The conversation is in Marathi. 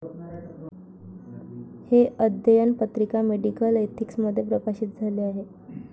' हे अध्ययन पत्रिका 'मेडिकल एथिक्स'मध्ये प्रकाशित झाले आहे.